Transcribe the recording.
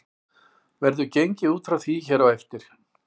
Verður gengið út frá því hér á eftir.